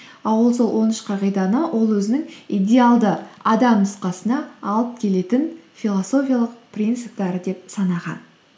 а ол сол он үш қағиданы ол өзінің идеалды адам нұсқасына алып келетін философиялық принциптері деп санаған